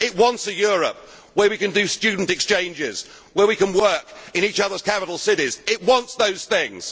it wants a Europe where we can do student exchanges and we can work in each others' capital cities it wants those